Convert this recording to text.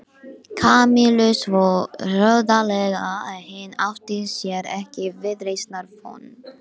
Kamillu svo hroðalega að hinn átti sér ekki viðreisnar von.